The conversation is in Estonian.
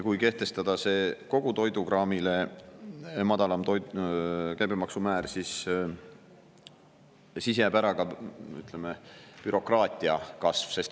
Kui kehtestada kogu toidukraamile madalam käibemaksumäär, siis jääb bürokraatia kasv ära.